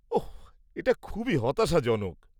ওহ, এটা খুবই হতাশাজনক।